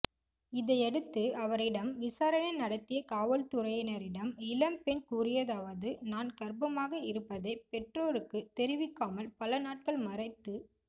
இதையடுத்து அவரிடம் விசாரணை நடத்திய காவல்துறையினரிடம் இளம்பெண் கூறியதாவது நான் கர்ப்பமாக இருப்பதை பெற்றோருக்கு தெரிவிக்காமல் பல நாட்கள் மறைத்து